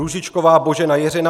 Růžičková Božena Jiřina